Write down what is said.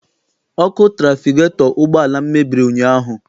Ọkụ trafigetọ ụgbọala m mebiri ụnyaahụ.